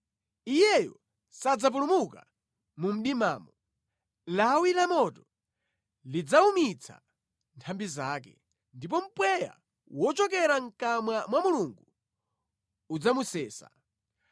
Iyeyo sadzapulumuka mu mdimamo; lawi lamoto lidzawumitsa nthambi zake, ndipo mpweya wochokera mʼkamwa mwa Mulungu udzamusesa.